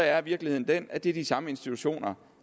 er virkeligheden den at det er de samme institutioner